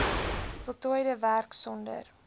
voltooide werk sonder